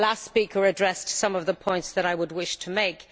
The last speaker addressed some of the points that I would wish to make.